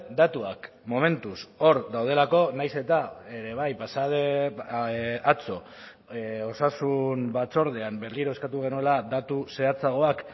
datuak momentuz hor daudelako nahiz eta ere bai pasa den atzo osasun batzordean berriro eskatu genuela datu zehatzagoak